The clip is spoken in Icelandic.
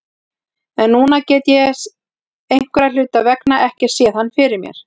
En núna get ég einhverra hluta vegna ekki séð hann fyrir mér.